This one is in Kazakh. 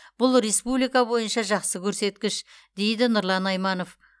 бұл республика бойынша жақсы көрсеткіш дейді нұрлан айманов